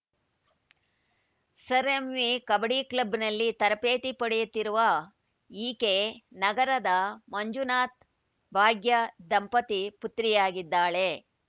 sir M V kabaddi ಕ್ಲಬ್‌ನಲ್ಲಿ ತರಬೇತಿ ಪಡೆಯುತ್ತಿರುವ ಈಕೆ ನಗರದ ಮಂಜುನಾಥ್‌ಭಾಗ್ಯ ದಂಪತಿ ಪುತ್ರಿಯಾಗಿದ್ದಾಳೆ